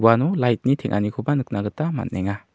uano lait ni teng·anikoba nikna gita man·enga.